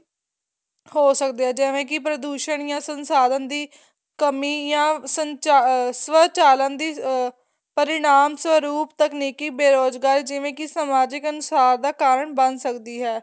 ਹੋ ਸਕਦੇ ਹੈ ਜੈਵੇ ਕੀ ਪ੍ਰਦੂਸ਼ਣ ਜਾ ਸੰਨਸਾਧਨ ਦੀ ਕਮੀ ਜਾ ਅਹ ਸਵਚਾਲਨ ਦੀ ਅਹ ਪਰਿਨਾਮ ਸਰੂਪ ਤਕਨੀਕੀ ਬੇਰੁਜਗਾਰੀ ਜਿਵੇਂ ਕੀ ਸਮਾਜਿਕ ਅਨੁਸਾਰ ਦਾ ਕਾਰਨ ਬਣ ਸਕਦੀ ਹੈ